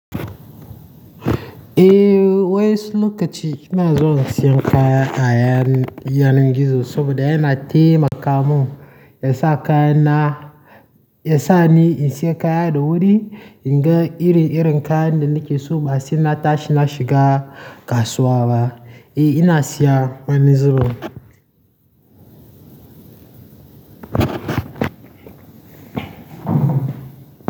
Eh wai su lokaci ina zuwa in siyan kaya a yanar gizo saboda yana taimaka mun, ya sa kayana, ya sa ni in siya kaya da wuri, in ga iri-irin kayan da nake so ba sai na tashi na shiga kasuwa ba. Eh ina siya wani zubin.